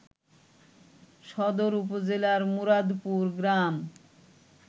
সদর উপজেলার মুরাদপুর গ্রাম